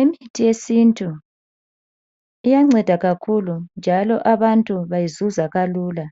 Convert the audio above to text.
Imithi yesintu iyanceda kakhulu njalo abantu bayizuza kalula.